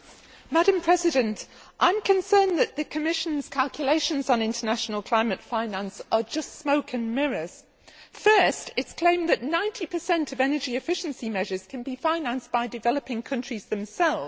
Madam President, I am concerned that the Commission's calculations on international climate finance are just smoke and mirrors. First, it has claimed that 90 of energy efficiency measures can be financed by developing countries themselves.